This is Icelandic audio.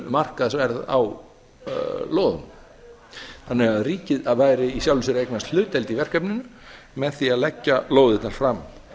markaðsverð á lóðunum þannig að ríkið væri í sjálfu sér að eignast hlutdeild í verkefninu með því að leggja lóðirnar fram